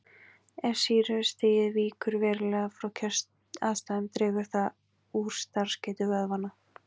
Ef sýrustigið víkur verulega frá kjöraðstæðum dregur það úr starfsgetu vöðvanna.